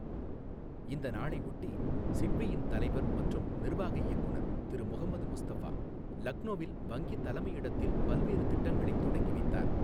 இந்த நாளை ஒட்டி சிட்பியின் தலைவா் மற்றும் நிர்வாக இயக்குநர் திரு முகமது முஸ்தஃபா லக்னோவில் வங்கி தலைமையிடத்தில் பல்வேறு திட்டங்களைத் தொடங்கி வைத்தார்.